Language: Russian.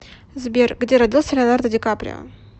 сбер где родился леонардо дикаприо